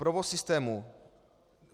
Provoz systému.